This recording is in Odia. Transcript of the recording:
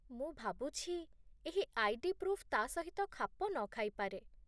ମୁଁ ଭାବୁଛି ଏହି ଆଇ.ଡି. ପ୍ରୁଫ୍ ତା' ସହିତ ଖାପ ନ ଖାଇପାରେ